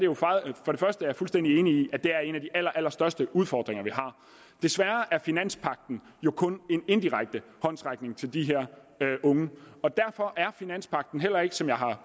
jeg er fuldstændig enig i at det er en af de allerallerstørste udfordringer vi har desværre er finanspagten jo kun en indirekte håndsrækning til de her unge og derfor er finanspagten heller ikke som jeg har